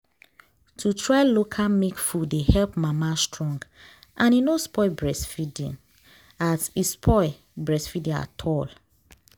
to try local milk food dey help mama strong and e no spoil breastfeeding at spoil breastfeeding at all